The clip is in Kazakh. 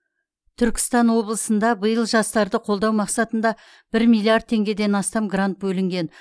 түркістан облысында биыл жастарды қолдау мақсатында бір миллиард теңгеден астам грант бөлінген